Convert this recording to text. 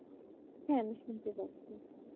হ্যাঁ আমি শুনতে পাচ্ছি